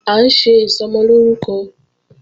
À ń ṣe Ìsọmọlórúkọ